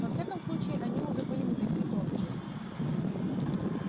во всяком случае они уже были не такие тонкие